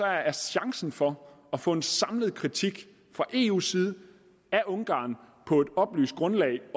er chancen for at få en samlet kritik fra eus side af ungarn på et oplyst grundlag